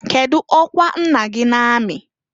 Kedu ọkwa nna gị na amị?